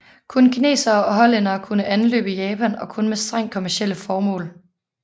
Kun kinesere og hollændere kunne anløbe Japan og kun med strengt kommercielle formål